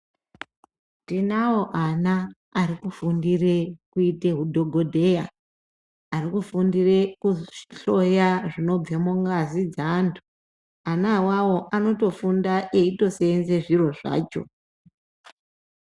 Tinavo ana arikufundire kuita hudhogodheya ari kufundire kuhloya zvinobve mungazi dzeantu. Ana avavo anotofunda eito senze zviro zvacho.